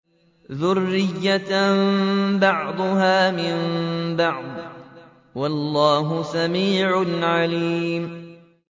ذُرِّيَّةً بَعْضُهَا مِن بَعْضٍ ۗ وَاللَّهُ سَمِيعٌ عَلِيمٌ